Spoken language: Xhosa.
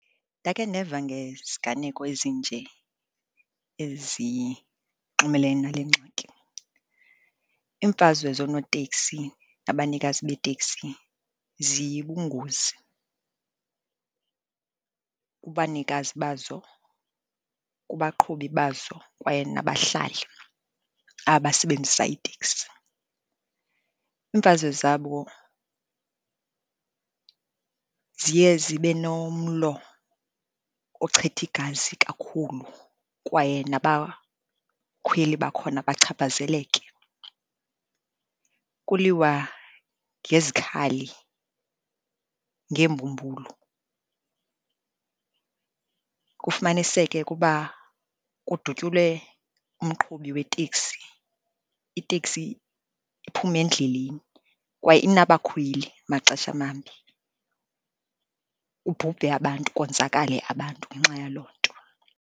Ndakhe ndeva ngeziganeko ezinje ezinxumelene nale ngxaki. Iimfazwe zoonotekisi nabanikazi beeteksi ziyibungozi kubanikazi bazo, kubaqhubi bazo kwaye nabahlali abasebenzisa iteksi. Iimfazwe zabo ziye zibe nomlo ochitha igazi kakhulu, kwaye nabakhweli bakhona bachaphazeleke. Kuliwa ngezikhali, ngeembumbulu, kufumaniseke ukuba kudutyulwe umqhubi weteksi, iteksi iphume endleleni kwaye inabakhweli maxesha mambi. Kubhubhe abantu, konzakale abantu ngenxa yaloo nto.